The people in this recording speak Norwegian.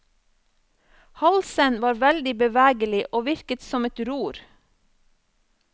Halsen var veldig bevegelig og virket som et ror.